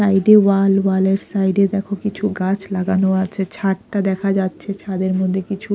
side -এ wall wall -এর side -এ দেখো কিছু গাছ লাগানো আছে ছাদটা দেখা যাচ্ছে ছাদের মধ্যে কিছু--